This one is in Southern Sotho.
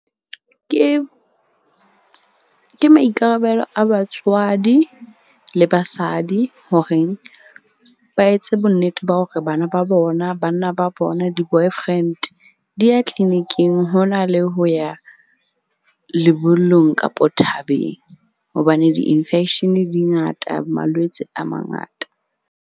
Ke maikarabelo a batswadi le basadi horeng ba etse bonnete ba hore bana ba bona, banna ba bona, di-boyfriend di ya clinic-ing, ho na le ho ya lebollong kapo thabeng. Hobane di-infection di ngata, malwetse a mangata.